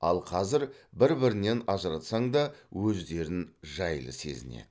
ал қазір бір бірінен ажыратсаң да өздерін жайлы сезінеді